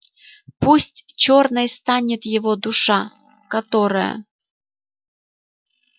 пусть чёрной станет его душа которая